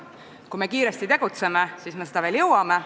Kui me kiiresti tegutseme, siis me seda veel jõuame.